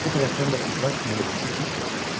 Bu tərəfdən də qızlar Pərinuşu çox gözlədilər.